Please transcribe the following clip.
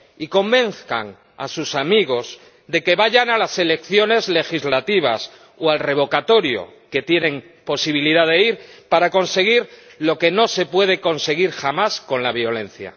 Y convenzan a sus amigos de que vayan a las elecciones legislativas o al revocatorio —ya que tienen posibilidad de ir— para conseguir lo que no se puede conseguir jamás con la violencia.